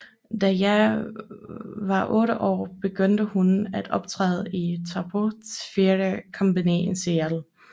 Da Jaye var 8 år begyndte hun at optræde i Taproot Theatre Company i Seattle